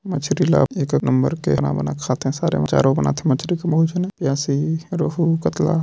मछली ल एक कक नंबर के बना-बना के खाथे सारे मन चारो बनाथे मछली के बहुत झने यासी रहु कतला--